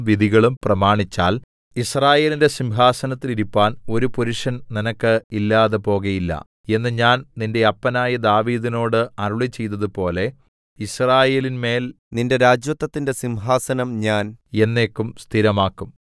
വിധികളും പ്രമാണിച്ചാൽ യിസ്രായേലിന്റെ സിംഹാസനത്തിൽ ഇരിപ്പാൻ ഒരു പുരുഷൻ നിനക്ക് ഇല്ലാതെപോകയില്ല എന്ന് ഞാൻ നിന്റെ അപ്പനായ ദാവീദിനോട് അരുളിച്ചെയ്തതുപോലെ യിസ്രായേലിന്മേൽ നിന്റെ രാജത്വത്തിന്റെ സിംഹാസനം ഞാൻ എന്നേക്കും സ്ഥിരമാക്കും